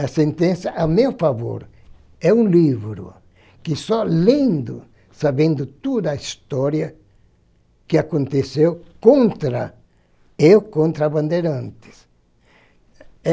A sentença, a meu favor, é um livro que só lendo, sabendo toda a história que aconteceu contra, eu contra a Bandeirantes.